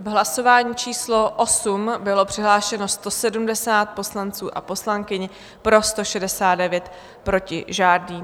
V hlasování číslo 8 bylo přihlášeno 170 poslanců a poslankyň, pro 169, proti žádný.